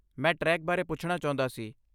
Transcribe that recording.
ਮੈਂ ਟ੍ਰੈਕ ਬਾਰੇ ਪੁੱਛਣਾ ਚਾਹੁੰਦਾ ਸੀ।